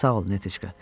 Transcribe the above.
Sağ olun, Netişka.